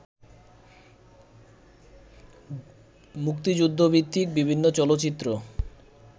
মুক্তিযুদ্ধভিত্তিক বিভিন্ন চলচ্চিত্র